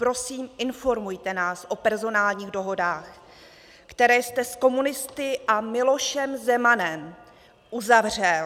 Prosím, informujte nás o personálních dohodách, které jste s komunisty a Milošem Zemanem uzavřel.